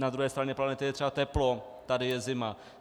Na druhé straně planety je třeba teplo, tady je zima.